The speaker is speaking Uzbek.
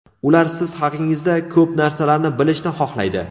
Ular siz haqingizda ko‘p narsalarni bilishni xohlaydi.